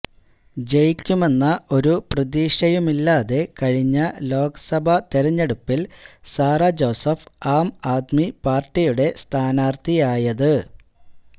ജയിക്കുമെന്ന ഒരു പ്രതീക്ഷയുമില്ലാതെ കഴിഞ്ഞ ലോകസഭാ തെരഞ്ഞെടുപ്പില് സാറ ജോസഫ് ആംആദ്മി പാര്ട്ടിയുടെ സ്ഥാനാര്ത്ഥിയായത്